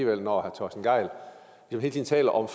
herre torsten gejl hele tiden taler om